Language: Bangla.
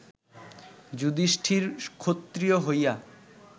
যুধিষ্ঠির ক্ষত্রিয় হইয়া